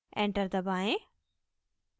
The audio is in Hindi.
enter दबाएं